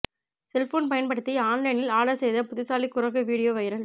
cellphone பயன்படுத்தி ஆன்லைனில் order செய்த புத்திசாலி குரங்கு வீடியோ வைரல்